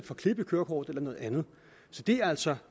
få klip i kørekortet eller noget andet så det er altså